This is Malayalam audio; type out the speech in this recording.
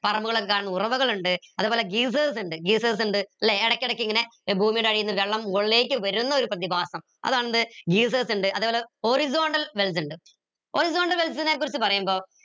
ഉറവകൾ ഉണ്ട് അതേപോലെ ഇണ്ട് ഇണ്ട് ല്ലെ ഇടയ്ക്കിടയ്ക്ക് ഇങ്ങനെ ഭൂമിയുടെ അടിയ്ന്ന് വെള്ളം മുകളിലേക്ക് വരുന്ന ഒരു പ്രതിഭാസം അതാണെന്ത് ഇണ്ട് അതേപോലെ horizontal wells ഇണ്ട് horizontal wells നെ കുറിച്ച് പറയുമ്പോ